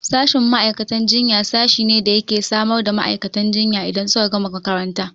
Sashin ma'aikatan jinya sashi ne da yake samar da ma'aikatan jinya idan suka gama makaranta